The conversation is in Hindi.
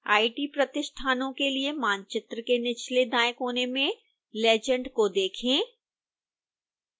आईटी प्रतिष्ठानों के लिए मानचित्र के निचले दाएं कोने में legend को देखें